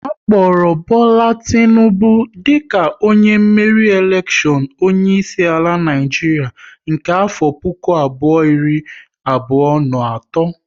A kpọrọ Bola Tinubu dika onye meriri elekshion onye isi ala Naịjiria nke afọ puku abụọ iri abụọ na atọ